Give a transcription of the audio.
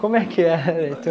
Como é que era, então?